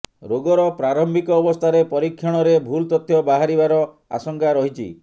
ରୋଗର ପ୍ରାରମ୍ଭିକ ଅବସ୍ଥାରେ ପରୀକ୍ଷଣରେ ଭୁଲ ତଥ୍ୟ ବାହାରିବାର ଆଶଙ୍କା ରହିଛି